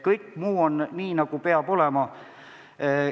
Kõik muu jääb nii, nagu olema peab.